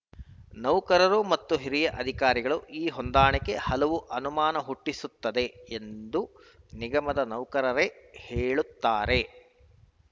ನೌಕರರು ಮತ್ತು ಹಿರಿಯ ಅಧಿಕಾರಿಗಳು ಈ ಹೊಂದಾಣಿಕೆ ಹಲವು ಅನುಮಾನ ಹುಟ್ಟಿಸುತ್ತದೆ ಎಂದು ನಿಗಮದ ನೌಕರರೇ ಹೇಳುತ್ತಾರೆ